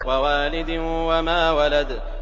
وَوَالِدٍ وَمَا وَلَدَ